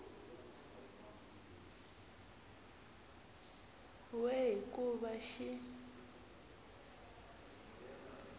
we hi ku va xi